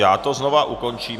Já to znovu ukončím.